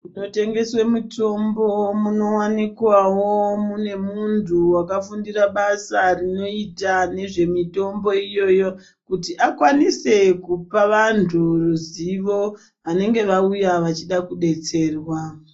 Munotengeswa mitombo kunowanikwawo mune muntu akafundira basa rinoitaa Nezvemitombo iyoyo kuti akwanise kupa vantu ruzivo anenge auya achida kudetserwa.